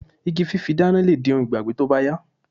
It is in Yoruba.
Igi fífi dána lè di ohun ìgbàgbé tó bá yá